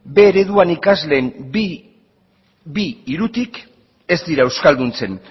b ereduan ikasleen bi hirutik ez dira euskalduntzen